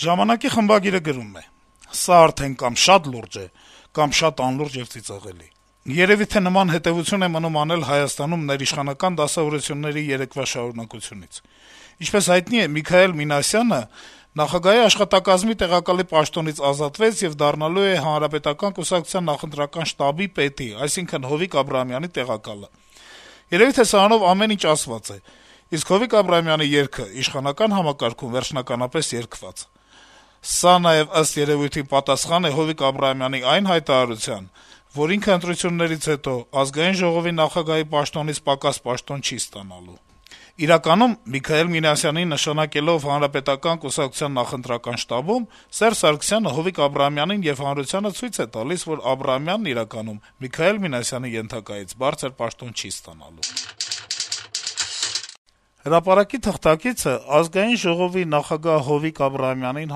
«Ժամանակ»-ի խմբագիրը գրում է. -«Սա արդեն կամ շատ լուրջ է, կամ շատ անլուրջ եւ ծիծաղելի: Երեւի թե նման հետեւություն է մնում անել Հայաստանում ներիշխանական դասավորությունների երեկվա շարունակությունից: Ինչպես հայտնի է, Միքայել Մինասյանը, ով Սերժ Սարգսյանի փեսան է, նախագահի աշխատակազմի տեղակալի պաշտոնից ազատվեց եւ դառնալու է ՀՀԿ նախընտրական շտաբի պետի, այսինքն Հովիկ Աբրահամյանի տեղակալը: Երեւի թե սրանով ամեն ինչ ասված է, իսկ Հովիկ Աբրահամյանի երգը իշխանական համակարգում վերջնականապես երգված: Սա նաեւ, ըստ երևույթին, պատասխանն է Հովիկ Աբրահամյանի այն հայտարարության, որ ընտրություններից հետո ինքը ԱԺ նախագահի պաշտոնից պակաս պաշտոն չի ստանալու»: «Հրապարակ»-ի թղթակիցը Ազգային ժողովի նախագահ Հովիկ Աբրահամյանին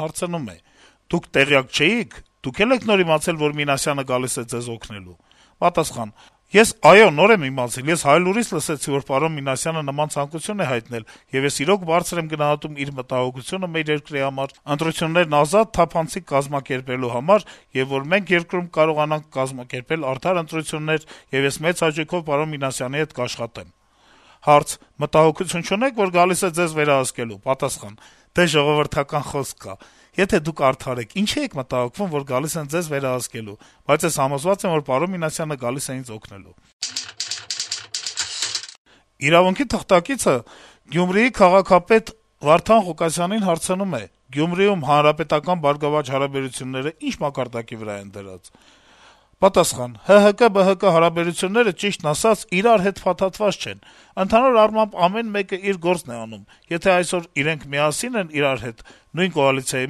հարցնում է. - «Դուք տեղյակ չէի՞ք, Դուք է՞լ եք նոր իմացել, որ Մինասյանը գալիս է Ձեզ օգնելու»: Պատասխան. - «Ես, այո, նոր եմ իմացել, ես «Հայլուրից» լսեցի, որ պարոն Մինասյանը նման ցանկություն է հայտնել, եւ ես իրոք բարձր եմ գնահատում իր մտահոգությունը մեր երկրի համար` ընտրություններն ազատ, թափանցիկ կազմակերպելու համար, եւ որ մենք երկրում կարողանանք կազմակերպել արդար ընտրություններ, եւ ես մեծ հաճույքով պարոն Մինասյանի հետ կաշխատեմ»: Հարց. - «Մտահոգություն չունե՞ք, որ գալիս է Ձեզ վերահսկելու»: Պատասխան. - «Դե, ժողովրդական խոսք կա` եթե դուք արդար եք, ինչի՞ եք մտահոգվում, որ գալիս են ձեզ վերահսկելու: Բայց ես համոզված եմ, որ պարոն Մինասյանը գալիս է ինձ օգնելու»: «Իրավունք»-ի թղթակիցը Գյումրիի քաղաքապետ Վարդան Ղուկասյանին հարցնում է. - «Գյումրիում ՀՀԿ-ԲՀԿ հարաբերությունները ի՞նչ մակարդակի վրա են դրված»: Պատասխան. - «ՀՀԿ-ԲՀԿ հարաբերությունները, ճիշտն ասած, իրար հետ փաթաթված չենք… Ընդհանուր առմամբ` ամեն մեկը իր գործն է անում, եթե այսօր իրենք միասին են իրար հետ, նույն կոալիցիայի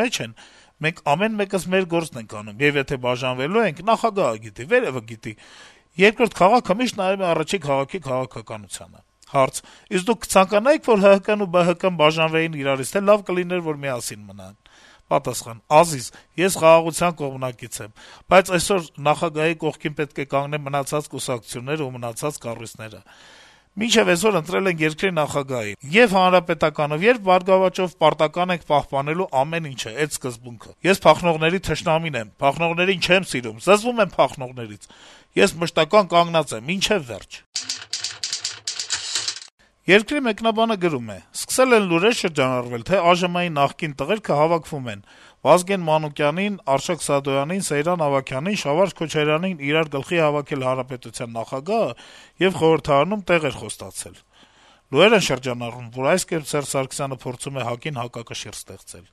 մեջ են, մենք ամեն մեկս մեր գործն ենք անում: Եվ եթե բաժանվելու ենք, նախագահը գիտի, վերեւը գիտի, երկրորդ քաղաքը միշտ նայում է առաջին քաղաքի քաղաքականությանը»: Հարց. - «Իսկ դուք կցանկանայի՞ք, որ ՀՀԿ-ն ու ԲՀԿ-ն «բաժանվեին» իրարից, թե՞ լավ կլիներ միասին մնան»: Պատասխան. - «Ազիզ, ես խաղաղության կողմնակից եմ, բայց այսօր ՀՀ նախագահի կողքին պետք է կանգնեն մնացած կուսակցություններն ու մնացած կառույցները: Մինչեւ այսօր ընտրել ենք երկրի նախագահին, ե'ւ ՀՀԿ-ով, ե'ւ ԲՀԿ-ով պարտական ենք պահպանելու ամեն ինչը, էդ սկզբունքը: Ես փախնողների թշնամին եմ… Փախնողներին չեմ սիրում, զզվում եմ փախնողներից: Ես մշտական կանգնած եմ, մինչեւ վերջ»: «Երկիր» թերթի մեկնաբանը գրում է. - «Սկսել են լուրեր շրջանառվել, թե «ԱԺՄ-ի նախկին տղերքը հավաքվում են. Վազգեն Մանուկյանին, Արշակ Սադոյանին, Սեյրան Ավագյանին, Շավարշ Քոչարյանին իրար գլխի է հավաքել Հանրապետության նախագահը եւ խորհրդարանում տեղեր խոստացել»: Լուրեր են շրջանառվում, որ այս կերպ Սարգսյանը փորձում է ՀԱԿ-ին հակակշիռ ստեղծել: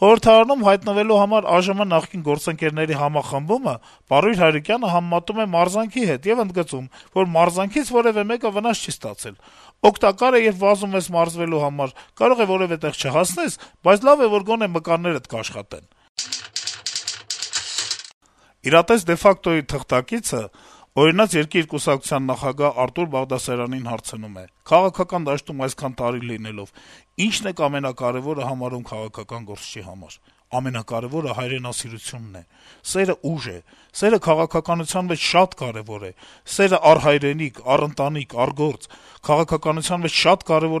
Խորհրդարանում հայտնվելու համար ԱԺՄ նախկին գործընկերների համախմբումը Պարույր Հայրիկյանը համեմատում է մարզանքի հետ եւ ընդգծում, որ մարզանքից որեւէ մեկը վնաս չի ստացել: «Օգտակար է, երբ վազում ես մարզվելու համար. կարող է որեւէ տեղ չհասնես, բայց լավ է, որ գոնե մկաններդ կաշխատեն»: «Իրատես de facto»-ի թղթակիցը «Օրինակ երկիր» կուսակցության նախագահ Արթուր Բաղդասարյանին հարցնում է. - «Քաղաքական դաշտում այսքան տարի լինելով, ի՞նչն եք ամենակարեւորը համարում քաղաքական գործչի համար»: «Ամենակարեւորը հայրենասիրությունն է, սերը ուժ է, սերը քաղաքականության մեջ շատ կարեւոր է: Սերը առ հայրենիք, առ ընտանիք, առ գործ… Քաղաքականության մեջ շատ կարեւոր է